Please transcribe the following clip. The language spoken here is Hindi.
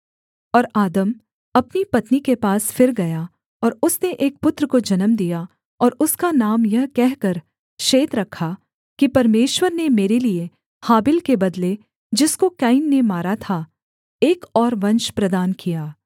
और आदम अपनी पत्नी के पास फिर गया और उसने एक पुत्र को जन्म दिया और उसका नाम यह कहकर शेत रखा कि परमेश्वर ने मेरे लिये हाबिल के बदले जिसको कैन ने मारा था एक और वंश प्रदान किया